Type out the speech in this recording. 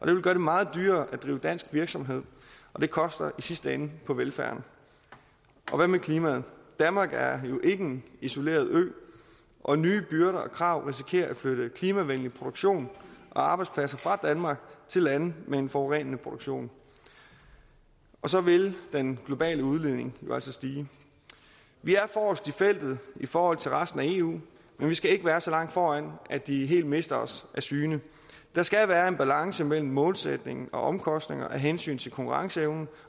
det vil gøre det meget dyrere at drive dansk virksomhed og det koster i sidste ende på velfærden og hvad med klimaet danmark er jo ikke en isoleret ø og nye byrder og krav risikerer at flytte klimavenlig produktion og arbejdspladser fra danmark til lande med en forurenende produktion og så vil den globale udledning jo altså stige vi er forrest i feltet i forhold til resten af eu men vi skal ikke være så langt foran at de helt mister os af syne der skal være en balance mellem målsætningen og omkostningerne af hensyn til konkurrenceevnen